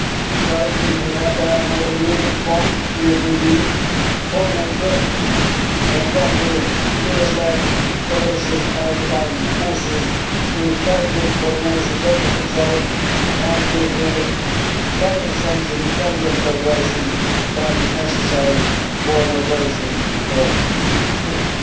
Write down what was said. We currently have naval units there from the European Union, from NATO and from the US led coalition maritime forces with very good coordination of the patrols and with the very essential intelligence cooperation that is necessary for an operation of this sort.